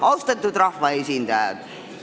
Austatud rahvaesindajad!